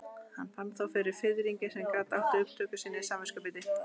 Hann fann þó fyrir fiðringi sem gat átt upptök sín í samviskubiti.